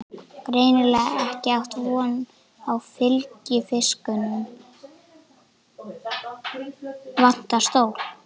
Greinilega ekki átt von á fylgifisknum, vantar stól.